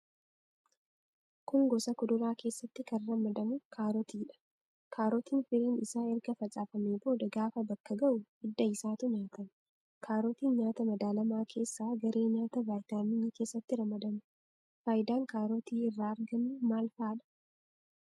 Kun gosa kuduraa keessatti kan ramadamu kaarotiidha. Kaarotiin firiin isaa erga facaafamee booda gaafa bakka ga'u hidda isaatu nyaatama. Kaarotiin nyaata madaalamaa keessaa garee nyaataa vaayitaaminii keessatti ramadama. Faayidaan kaarotii irraa argannu maal faadha?